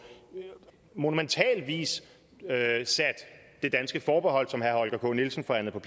monumental vis sat det danske forbehold som herre holger k nielsen forhandlede